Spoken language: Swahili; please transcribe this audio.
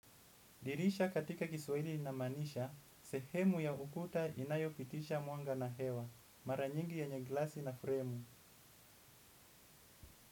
Dirisha katika kiswahili inamanisha, sehemu ya ukuta inayo pitisha muanga na hewa, maranyingi ye nyene glasi na fremu.